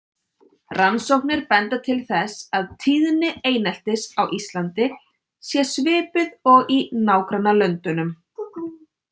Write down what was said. Rannsóknir benda til þess að tíðni eineltis á Íslandi sé svipuð og í nágrannalöndunum.